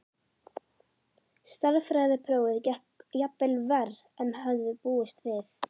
Stærðfræðiprófið gekk jafnvel verr en hann hafði búist við.